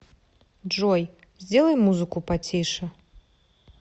джой сделай музыку потише